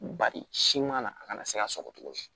Bari siman na a kana se ka sɔgɔ tuguni